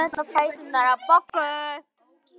Nú skyldi hann ekki sleppa, karlinn.